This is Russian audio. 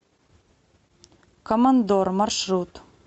командор маршрут